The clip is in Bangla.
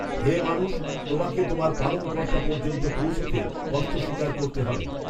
হে মানুষ, তোমাকে তোমার পালনকর্তা পর্যন্ত পৌছতে কষ্ট স্বীকার করতে হবে